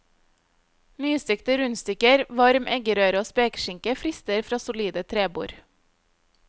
Nystekte rundstykker, varm eggerøre og spekeskinke frister fra solide trebord.